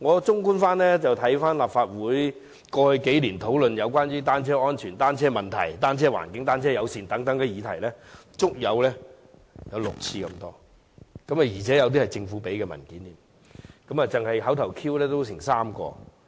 綜觀立法會過去幾年對有關單車安全、單車問題、踏單車的環境、單車友善等議題的討論，足有6次之多，而且涉及政府提供的文件，單是口頭質詢也有3項。